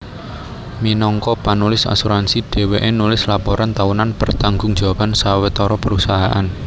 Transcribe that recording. Minangka panulis asuransi dhèwèké nulis laporan taunan pertanggung jawaban sawetara perusahaan